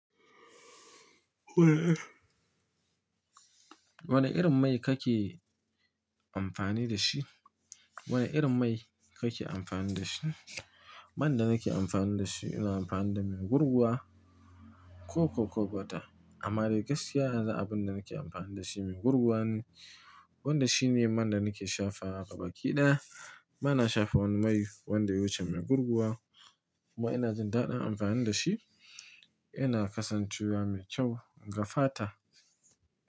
Wane irin mai kake amfani da shi? Wane irin mai kake amfani da shi? Man da nake amfani da shi, ina amfani da mai gurguwa. Ko koko bota. Amma ni gaskiya abin da nake amfani da shi mai gurguwa ne, wanda shi ne man da nake shafawa ga baki ɗaya ba na shafa wani mai wanda ya wuce mai gurguwa, kuma ina jin daɗin amfani da shi. Yana kasancewa mai kyau ga fata.